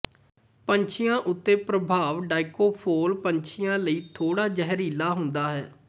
ਪੰਛੀਆਂ ਉੱਤੇ ਪ੍ਰਭਾਵ ਡਾਈਕੋਫੋਲ ਪੰਛੀਆਂ ਲਈ ਥੋੜ੍ਹਾ ਜ਼ਹਿਰੀਲਾ ਹੁੰਦਾ ਹੈ